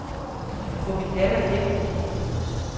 Jeg får min datter hjem i weekenden.